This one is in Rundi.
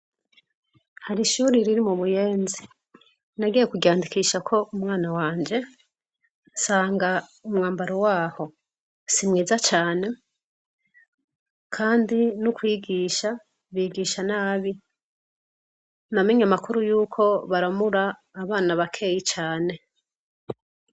Hari ishuri riri mu Buyenzi; nagiye kuryandikishako umwana wanje, nsanga umwambaro waho, si mwiza cane, kandi n'ukwigisha bigisha nabi; namenye amakuru y'uko baramura abana bakeyi cane.